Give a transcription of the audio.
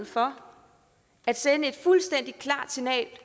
for at sende et fuldstændig klart signal